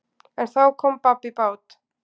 En þá kom babb í bát.